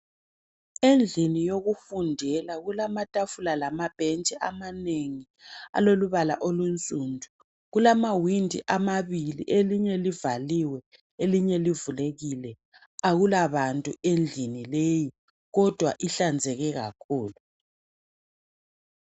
Endlini yokufundela kulamatafula lamabhentshi amanengi alombala olunsundu .Kulamawindi amabili, elinye livaliwe ,elinye livulekile. Akula bantu endlini leyi kodwa ihlanzeke kakhulu.